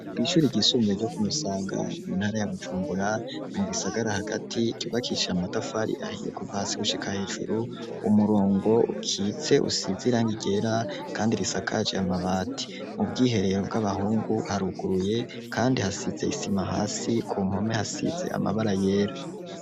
Ishuri ryisumbuye ryo Kumusaga muntara ya Bujumbura mu gisagara hagati cubakicije amatafari ahiye kuva hasi gushika hejuru, umurongo ukitse usize irangi ryera kandi risakaje amabati mu bwiherero bw'abahungu haruguruye kandi hasize isima hasi ku npome hasize amabara yera.